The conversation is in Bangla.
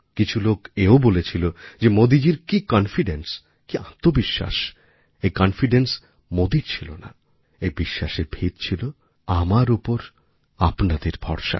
কিছু লোক এও বলেছিল যে মোদীজির কি কনফিডেন্স কি আত্মবিশ্বাস এই কনফিডেন্স মোদির ছিল না এইবিশ্বাসের ভিত ছিল আমার ওপর আপনাদের ভরসা